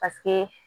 Paseke